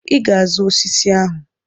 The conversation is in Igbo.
I ga-azụ osisi ahụ.